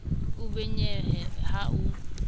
o be monyebe ha o